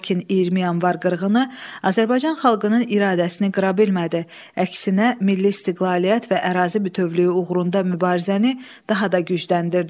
Lakin 20 yanvar qırğını Azərbaycan xalqının iradəsini qıra bilmədi, əksinə milli istiqlaliyyət və ərazi bütövlüyü uğrunda mübarizəni daha da gücləndirdi.